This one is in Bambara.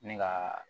Ne ka